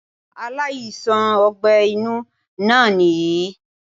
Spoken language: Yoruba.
Aláìsàn ogbé inú náà nìyí í